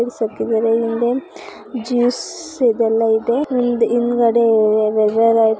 ಹಿಂದೆ ಜ್ಯೂಸ್ ಇದೆಲ್ಲ ಎಲ್ಲ ಇದೆ ಹಿಂದ್ಗಡೆ